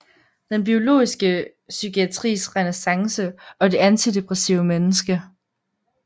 Den biologiske psykiatris renæssance og det antidepressive menneske